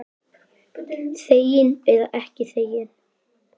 Þegin eða ekki þegin.